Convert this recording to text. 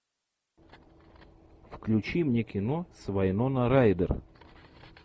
включи мне кино с вайнона райдер